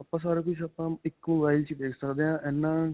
ਆਪਾਂ ਸਾਰਾ ਕੁਝ ਆਪਾਂ ਇੱਕ mobile ਵਿੱਚ ਦੇਖ ਸਕਦੇ ਹਾਂ ਇੰਨਾ.